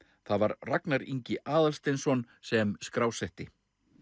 það var Ragnar Ingi Aðalsteinsson sem skrásetti